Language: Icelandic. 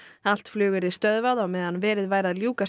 allt flug yrði stöðvað á meðan verið væri að ljúka